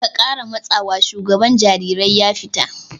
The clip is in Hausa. "Ka kara matsawa!" shugaban jarirai ya fita!